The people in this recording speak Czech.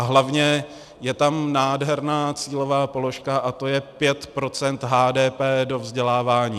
A hlavně je tam nádherná cílová položka a to je 5 % HDP do vzdělávání.